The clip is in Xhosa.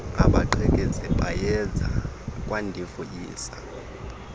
abagqekezi bayeza kwandivuyisa